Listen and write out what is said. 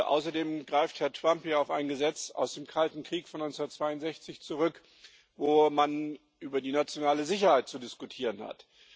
Außerdem greift Herr Trump auf ein Gesetz aus dem Kalten Krieg von 1963 zurück, wo man über die nationale Sicherheit zu diskutieren hat.